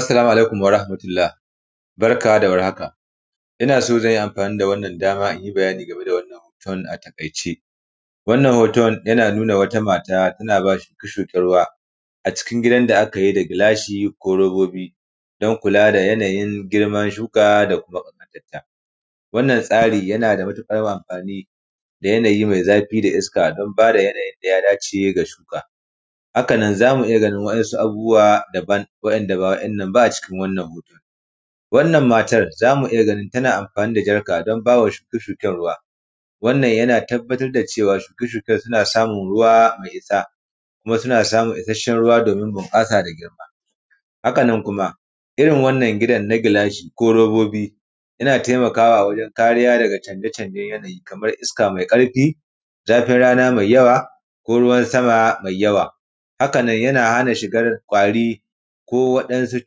Assalamu alaikum warahamatullah, barka da warhaka. Ina son zanyi amfani dama inyi bayani game da wannan hoton a takaice. Wannan hoton yana nuna wata mata tana ba shuke-shike ruwa a cikin gidan da akayi da gilashi ko robobi don kula da yana yin girman shuka da makamanta ta, wannan tsari yana da matuƙar wa amfani da yanayi mai zafi da iska don bada yana yin daya dace ga shuka. Haka nan zamu iya ganin wa’insu abubuwa dabam wa’inda ba wa’innan ba a cikin wannan hoton. Wannan matar zamu iya ganin tana amfani da jarka don bawa shuke -shuken ruwa, wannan yana tabbata da cewa shuka-shuken suna samun ruwa mai isa, kuma suna isashen ruwa domin bunƙasa da girma. Haka nan kuma irin wannan gidan na gilashi ko robobi yana taimakawa wajen kariya daga canfe-canfen yanayi, kamar iska mai ƙarfi, zafin rana mai yawa ko ruwan sama mai yawa, haka nan yana hana shigar kwari ko waɗansu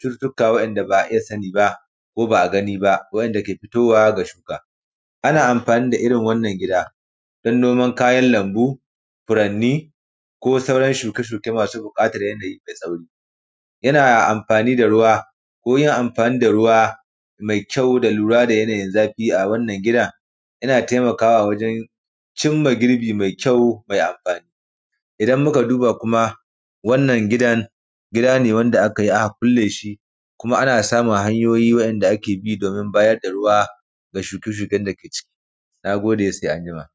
cututuka wa’inda ba a iya sani ba, ko ba a gani ba wa’inda ke fitowa ga shuka. Ana amfani da iri wannan gida don noman kayan lambu, furanni ko sauran shuke-shuke masu buƙatan yanayi mai tsauri. Yana amfani da ruwa, ko yin amfani da ruwa mai kyau da lura da yana yin zafi a wannan gidan yana taimakawa wajen cimma girbi mai kyau mai amfani. Idan muka duba kuma wannan gidan, gida ne wanda akayi aka kulle shi kuma ana samun hanyoyi wa’inda ake bi domin bayar da ruwa ga shuke-shuken dake ciki. Na gode, sai anjima.